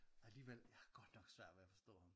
Alligevel har jeg godt nok svært ved at forstå ham